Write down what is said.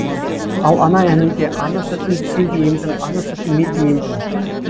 ал ана әнінде ана сүтін сен де емдің ана сүтін мен де емдім